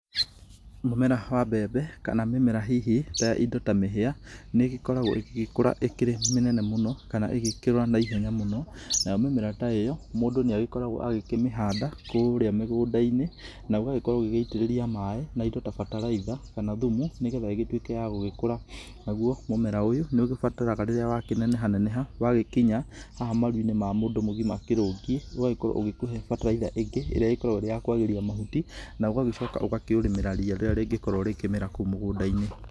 Mũmera wa mbembe kana mĩmera hihi ta indo ta mĩhĩa, nĩ ĩgĩkoragwo ĩgĩgĩkũra ĩkĩrĩ mĩnene mũno, kana ĩgĩkũra naihenya mũno, nayo mĩmera ta ĩyo, mũndũ nĩ agĩkoragwo agĩkĩmĩhanda, kũũrĩa mĩgũnda-inĩ, na ũgagĩkorwo ũgĩgĩitĩrĩria maaĩ, na indo ta bataraitha, kana thumu, nĩgetha ĩgĩgĩtuĩke ya gũgĩkũra. Naguo mũmera ũyũ, nĩ ũgĩbataraga rĩrĩa wakĩneneha neneha, wagĩkĩnya haha maruinĩ ma mũndũ mũgima akĩrũngiĩ, ũgagĩkorwo ũgĩkihe bataraitha ĩngĩ, ĩrĩa ĩkoragwo ĩrĩ ya kwagĩria mahuti, na ũgagĩcoka ũkaũrĩmĩra ria rĩrĩa rĩngĩkorwo rĩkĩmera kũũ mũgũndainĩ.